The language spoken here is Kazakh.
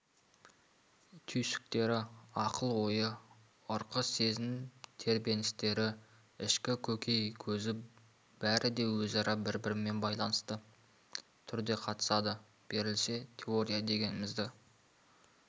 түйсіктері ақыл-ойы ырқы сезім тебіреністері ішкі көкей көзі бәрі де өзара бір-бірімен байланысты түрде қатысады берілсе теория дегенімізді